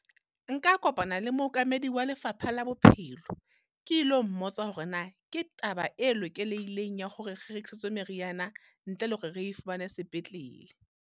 Nka kopana le mookamedi wa lefapha la bophelo, ke ilo mmotsa hore na ke taba e lokelehileng ya hore re rekisetswe meriana, ntle le hore re e fumane sepetlele.